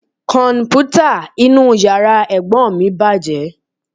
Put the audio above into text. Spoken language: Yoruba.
Kọ̀m̀pútà inú yàrá Ẹ̀gbọ́n mi bàjẹ́ lánàá